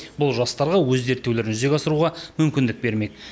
бұл жастарға өз зерттеулерін жүзеге асыруға мүмкіндік бермек